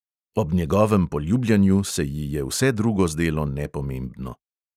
Ob njegovem poljubljanju se ji je vse drugo zdelo nepomembno.